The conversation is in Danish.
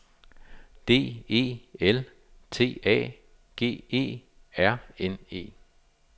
D E L T A G E R N E